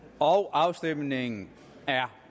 afstemningen er